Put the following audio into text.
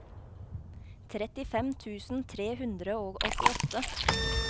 trettifem tusen tre hundre og åttiåtte